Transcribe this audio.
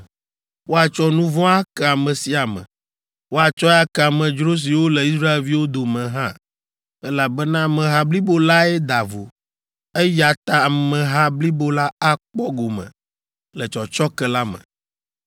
Woatsɔ nu vɔ̃ ake ame sia ame; woatsɔe ake amedzro siwo le Israelviwo dome hã, elabena ameha blibo lae da vo, eya ta ameha blibo la akpɔ gome le tsɔtsɔke la me.